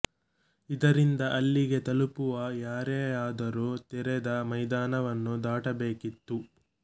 ಇದರಿಂದ ಅಲ್ಲಿಗೆ ತಲುಪುವ ಯಾರೇ ಆದರೂ ತೆರೆದ ಮೈದಾನವನ್ನು ದಾಟಬೇಕಿತ್ತು